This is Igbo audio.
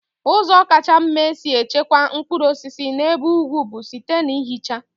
Ụzọ kacha mma e si echekwa mkpụrụ osisi n'ebe ugwu bụ site na ihicha.